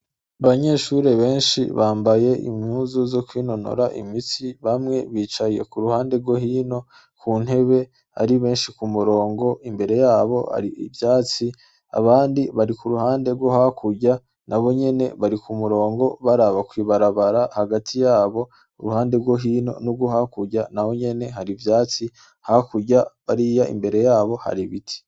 Abanyeshuri benshi bambaye imyuzu zo kwinonora imitsi bamwe bicaye ku ruhande rwo hino ku ntebe ari benshi ku murongo imbere yabo ari ivyatsi abandi bari ku ruhande rwo hakurya na bo nyene bari ku murongo bari aba kwibarabara hagati yabo uruhande rwo hinon ohakurya na we nyene hari ivyatsi hakurya bariya imbere yabo hari biti.